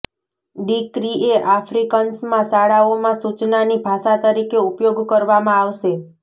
decree કે આફ્રિકન્સમાં શાળાઓમાં સૂચનાની ભાષા તરીકે ઉપયોગ કરવામાં આવશે